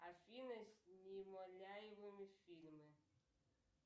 афина с немоляевым фильмы